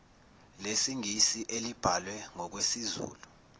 lesingisi elibhalwe ngokwesizulu